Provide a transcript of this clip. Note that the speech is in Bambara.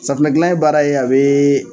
Safunɛ gilan ye baara ye a be